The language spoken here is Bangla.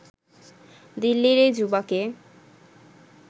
দিল্লির এই যুবাকে